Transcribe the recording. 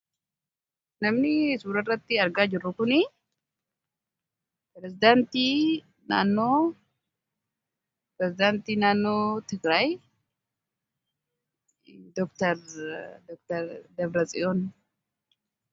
Namni suuraa irratti argaa jirru kun pirezedaantii mootummaa tigraay doktar Dabra Tsiyooni.